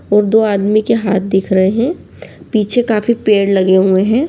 और दो आदमी के हाथ दिख रहे हें पीछे काफी पेड़ लगे हुए हें।